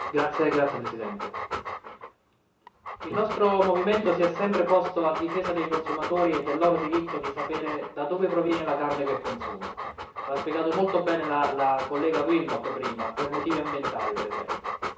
Signor Presidente, onorevoli colleghi, il nostro movimento si è sempre posto a difesa dei consumatori e del loro diritto di sapere da dove proviene la carne che consumano lo ha spiegato molto bene la collega Willmott prima per motivi ambientali per esempio.